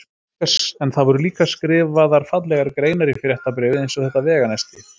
En það voru líka skrifaðar fallegar greinar í fréttabréfið eins og þetta veganesti